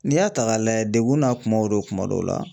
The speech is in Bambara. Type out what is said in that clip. N'i y'a ta k'a lajɛ degun n'a kumaw do kuma dɔw la.